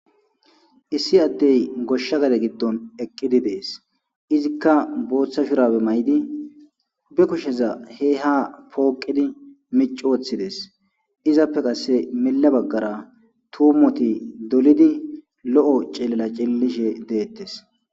Issi addey goshsha gade giddon eqqidi dees izikka booththa shurabe may'di be kusheza he ha pooqidi mici woththides izappe qasse mila baggara tuumoti dolidi lo'o cilela cillishe deettes.